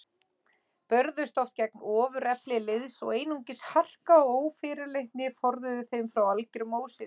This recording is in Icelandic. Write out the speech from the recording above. Börðust oft gegn ofurefli liðs og einungis harka og ófyrirleitni forðuðu þeim frá algerum ósigri.